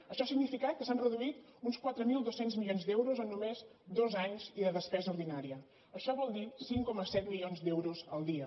això ha significat que s’han reduït uns quatre mil dos cents milions d’euros en només dos anys i de despesa ordinària això vol dir cinc coma set milions d’euros al dia